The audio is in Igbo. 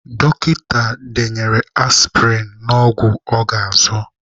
Dọkịta denyere aspịrịn na ọgwụ ọ ga-azụ.